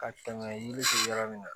Ka tɛmɛ yiri fɛ yɔrɔ min na